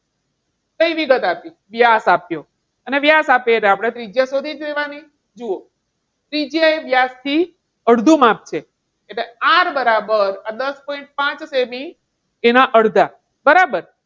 કઈ વિગત આપી છે? વ્યાસ આપ્યો. અને વ્યાસ આપે તો આપણે ત્રિજ્યા શોધી જ લેવાની. જુઓ ત્રિજ્યા વ્યાસથી અડધું માપ છે એટલે R બરાબર દસ point પાંચ સેમી એના અડધા. બરાબર?